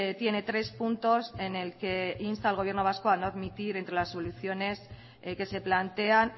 tiene tres puntos en el que insta al gobierno vasco a no admitir entre las soluciones que se plantean